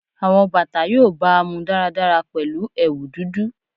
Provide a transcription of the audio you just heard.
Awọn bata yoo baamu daradara pẹlu ẹwu dudu